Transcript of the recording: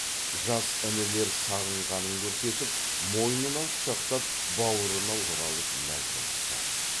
жас інілер сағынғанын көрсетіп мойнынан құшақтап баурына оралып мәз болысты